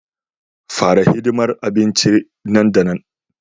Fara hidimar abincin nan da nan